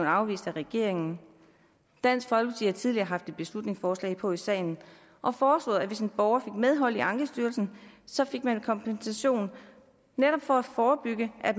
afvist af regeringen dansk folkeparti har tidligere haft et beslutningsforslag på i salen og foreslået at hvis en borger fik medhold i ankestyrelsen så fik man kompensation netop for at forebygge at